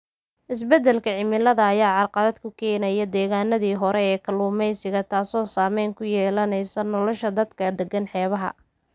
Isbeddelka cimilada ayaa carqalad ku keenaya deegaannadii hore ee kalluumeysiga, taas oo saameyn ku yeelatay nolosha dadka deggan xeebaha.